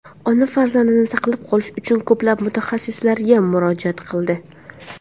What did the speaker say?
Ona farzandini saqlab qolish uchun ko‘plab mutaxassislarga murojaat qildi.